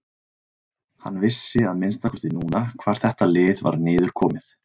Hann vissi að minnsta kosti núna hvar þetta lið var niðurkomið.